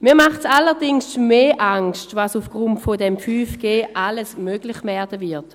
Mir macht allerdings mehr Angst, was aufgrund von 5G alles möglich werden wird: